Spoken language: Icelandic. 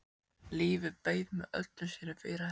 Lífið beið með öllum sínum fyrirheitum.